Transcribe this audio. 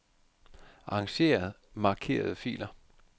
Arranger markerede filer.